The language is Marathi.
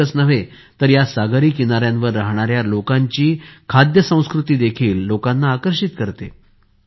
इतकेच नव्हे तर या सागरी किनाऱ्यांवर राहणाऱ्या लोकांची खाद्य संस्कृती देखील लोकांना आकर्षित करते